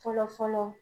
Fɔlɔ fɔlɔ